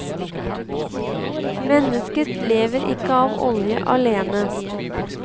Mennesket lever ikke av olje alene.